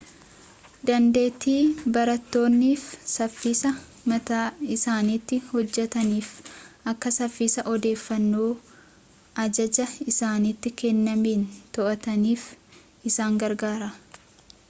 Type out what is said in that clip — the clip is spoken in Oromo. dandeettii barattoonni saffisa mataa isaaniitiin hojjetanii fi akka saffisa odeeffannoo ajajaa isaanitti kennameen to'ataniif isaan gargaara